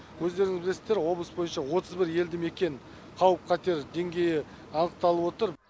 өздеріңіз білесіздер облыс бойынша отыз бір елді мекен қауіп қатер деңгейі анықталып отыр